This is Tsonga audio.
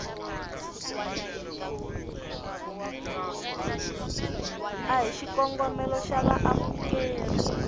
ya hi xikongomelo xa vaamukeri